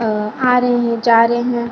अ आ रहे हैं जा रहे हैं।